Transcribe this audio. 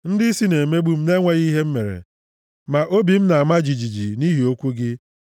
Ndịisi na-emegbu m na-enweghị ihe m mere, ma obi m na-ama jijiji nʼihi okwu gị.